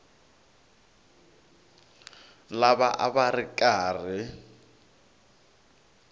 lava a va ri karhi